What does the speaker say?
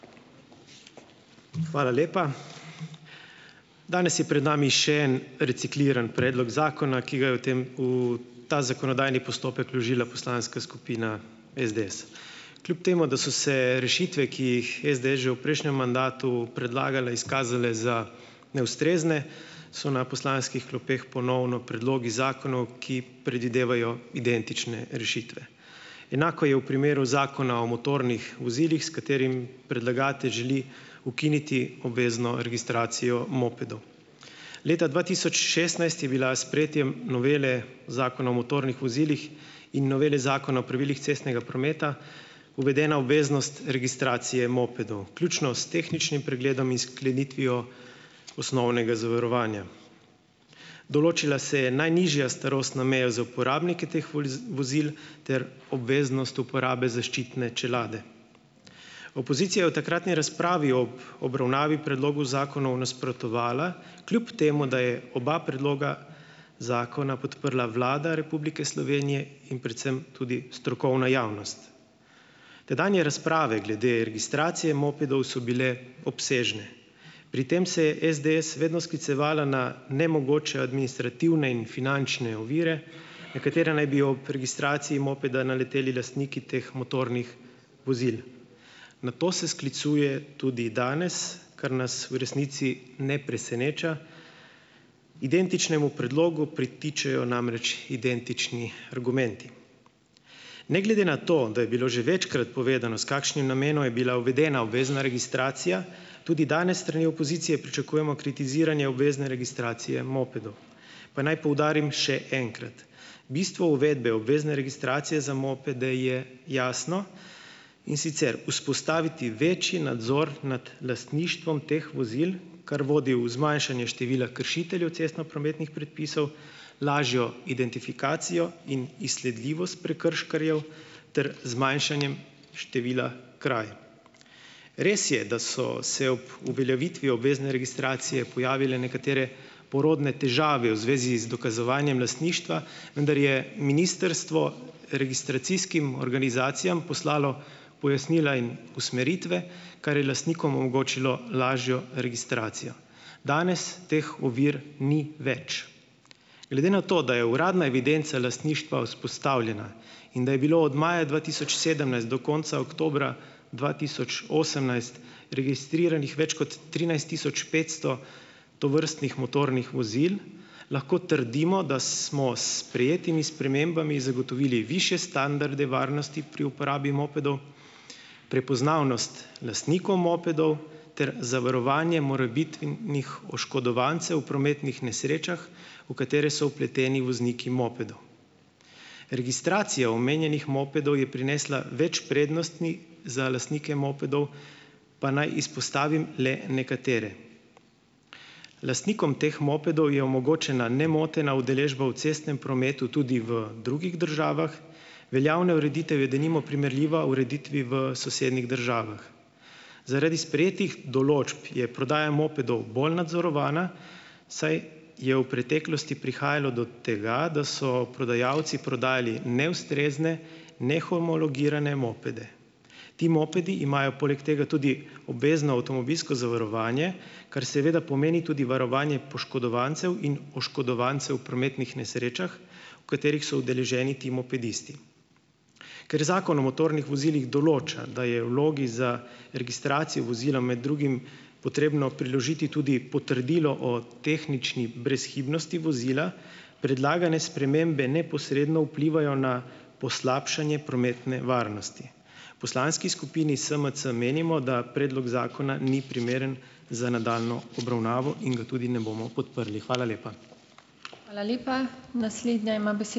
Hvala lepa. Danes je pred nami še en recikliran predlog zakona, ki ga je v tem v ta zakonodajni postopek vložila poslanska skupina SDS. Kljub temu da so se rešitve, ki jih je SDS že v prejšnjem mandatu predlagala, izkazale za neustrezne, so na poslanskih klopeh ponovno predlogi zakonov, ki predvidevajo identične rešitve. Enako je v primeru Zakona o motornih vozilih, s katerim predlagatelj želi ukiniti obvezno registracijo mopedov. Leta dva tisoč šestnajst je bila s sprejetjem novele Zakona o motornih vozilih in novele Zakona o pravilih cestnega prometa uvedena obveznost registracije mopedov, vključno s tehničnim pregledom in sklenitvijo osnovnega zavarovanja. Določila se je najnižja starostna meja za uporabnike teh vozil ter obveznost uporabe zaščitne čelade. Opozicija je v takratni razpravi ob obravnavi predlogu zakonov nasprotovala, kljub temu da je oba predloga zakona podprla Vlada Republike Slovenije in predvsem tudi strokovna javnost. Tedanje razprave glede registracije mopedov so bile obsežne. Pri tem se je SDS vedno sklicevala na nemogoče administrativne in finančne ovire, na katere naj bi ob registraciji mopeda naleteli lastniki teh motornih vozil. Na to se sklicuje tudi danes, kar nas v resnici ne preseneča. Identičnemu predlogu pritičejo namreč identični argumenti. Ne glede na to, da je bilo že večkrat povedano, s kakšnim namenom je bila uvedena obvezna registracija, tudi danes s strani opozicije pričakujemo kritiziranje obvezne registracije mopedov. Pa naj poudarim še enkrat, bistvo uvedbe obvezne registracije za mopede je jasno, in sicer vzpostaviti večji nadzor nad lastništvom teh vozil, kar vodi v zmanjšanje števila kršiteljev cestnoprometnih predpisov, lažjo identifikacijo in izsledljivost prekrškarjev ter zmanjšanje števila kraj. Res je, da so se ob uveljavitvi obvezne registracije pojavile nekatere porodne težave v zvezi z dokazovanjem lastništva, vendar je ministrstvo registracijskim organizacijam poslalo pojasnila in usmeritve, kar je lastnikom omogočilo lažjo registracijo. Danes teh ovir ni več. Glede na to, da je uradna evidenca lastništva vzpostavljena in da je bilo od maja dva tisoč sedemnajst do konca oktobra dva tisoč osemnajst registriranih več kot trinajst tisoč petsto tovrstnih motornih vozil, lahko trdimo, da smo s sprejetimi spremembami zagotovili višje standarde varnosti pri uporabi mopedov, prepoznavnost lastnikov mopedov ter zavarovanje morebitnih oškodovancev v prometnih nesrečah, v katere so vpleteni vozniki mopedov. Registracija omenjenih mopedov je prinesla več prednostni za lastnike mopedov, pa naj izpostavim le nekatere. Lastnikom teh mopedov je omogočena nemotena udeležba v cestnem prometu tudi v drugih državah. Veljavna ureditev je denimo primerljiva ureditvi v sosednjih državah. Zaradi sprejetih določb je prodaja mopedov bolj nadzorovana, saj je v preteklosti prihajalo do tega, da so prodajalci prodajali neustrezne, nehomologirane mopede. Ti mopedi imajo poleg tega tudi obvezno avtomobilsko zavarovanje, kar seveda pomeni tudi varovanje poškodovancev in oškodovancev v prometnih nesrečah, v katerih so udeleženi ti mopedisti. Ker Zakon o motornih vozilih določa, da je vlogi za registracijo vozila med drugim potrebno priložiti tudi potrdilo o tehnični brezhibnosti vozila, predlagane spremembe neposredno vplivajo na poslabšanje prometne varnosti. Poslanski skupini SMC menimo, da predlog zakona ni primeren za nadaljnjo obravnavo in ga tudi ne bomo podprli. Hvala lepa.